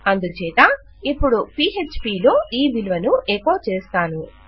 అందుచేత ఇపుడు పీఎచ్పీ లో ఈ విలువను ఎకోచేస్తాను